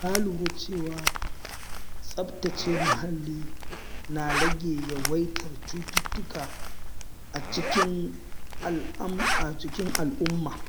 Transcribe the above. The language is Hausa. Na lura cewa tsaftace muhalli na rage yawaitar cututtuka a cikin al’umma.